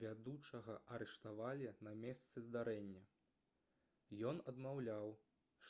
вядучага арыштавалі на месцы здарэння ён адмаўляў